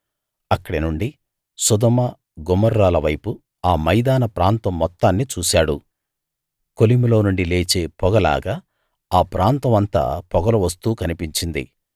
అక్కడి నుండి సొదొమ గొమొర్రాల వైపు ఆ మైదాన ప్రాంతం మొత్తాన్నీ చూశాడు కొలిమిలోనుండి లేచే పొగ లాగా ఆ ప్రాంతం అంతా పొగలు వస్తూ కనిపించింది